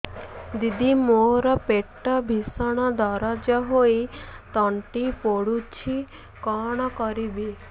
ଦିଦି ମୋର ପେଟ ଭୀଷଣ ଦରଜ ହୋଇ ତଣ୍ଟି ପୋଡୁଛି କଣ କରିବି